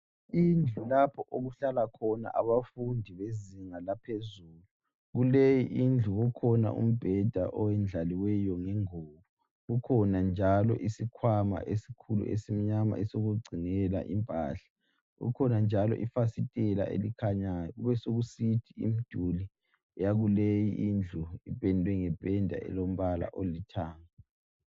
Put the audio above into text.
Indlu lapho okuhlala khona abafundi bezinga laphezulu, kuleyi indlu kukhona umbheda oyendlaliweyo ngengubo, kukhona njalo isikhwama esikhulu esimnyama esokugcinela impahla, kukhona njalo ifasitela elikhanyayo, besokusithi imiduli yakuleyi indlu ipendwe ngependa elombala olithanga.